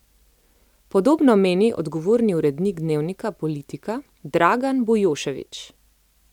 Podobno meni odgovorni urednik dnevnika Politika Dragan Bujošević.